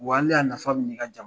Wa nin ne ya na sababu ye i ka